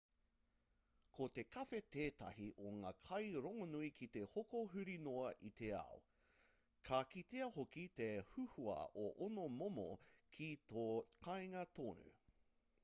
ko te kawhe tētahi o ngā kai rongonui ki te hoko huri noa i te ao ka kitea hoki te huhua o ōna momo ki tō kāinga tonu